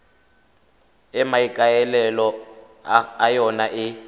e maikaelelo a yona e